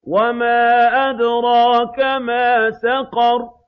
وَمَا أَدْرَاكَ مَا سَقَرُ